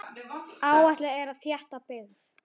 Áætlað er að þétta byggð.